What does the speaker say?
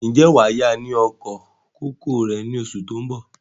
Ǹjẹ́ wàá yá wa ní oko kòkó rẹ̀ ni oṣù tó bọ̀?